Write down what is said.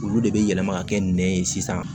Olu de bɛ yɛlɛma ka kɛ nɛn ye sisan